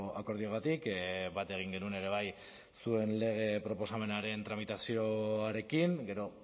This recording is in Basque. akordioagatik bat egin genuen ere bai zuen lege proposamenaren tramitazioarekin gero